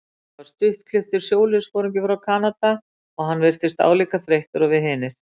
Þetta var stuttklipptur sjóliðsforingi frá Kanada og hann virtist álíka þreyttur og við hinir.